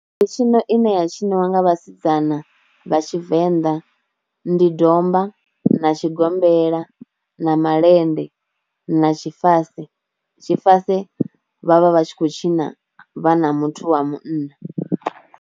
Mitshino ine ya tshiniwa nga vhasidzana vha tshivenḓa ndi domba na tshigombela na malende na tshifase, tshifase vhavha vha tshi khou tshina vha na muthu wa munna.